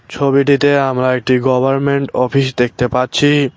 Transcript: ছবিটিতে আমরা একটি গভারমেন্ট অফিস দেখতে পাচ্ছি।